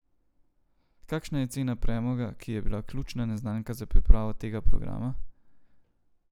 Kakšna je cena premoga, ki je bila ključna neznanka za pripravo tega programa?